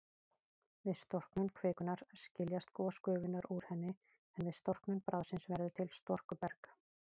Við storknun kvikunnar skiljast gosgufurnar úr henni, en við storknun bráðsins verður til storkuberg.